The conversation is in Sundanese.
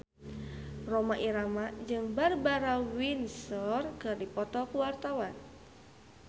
Rhoma Irama jeung Barbara Windsor keur dipoto ku wartawan